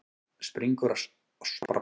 Springur annars í loft upp.